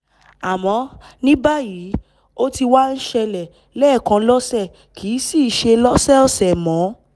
àmọ́ ní báyìí ó ti wá ń ṣẹlẹ̀ lẹ́ẹ̀kan lọ́sẹ̀ kìí sìí ṣe lọ́sọ̀ọ̀sẹ̀ mọ́